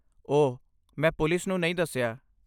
ਓਹ, ਮੈਂ ਪੁਲਿਸ ਨੂੰ ਨਹੀਂ ਦੱਸਿਆ।